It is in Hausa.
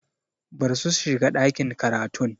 Barsu su shiga ɗakin karatun!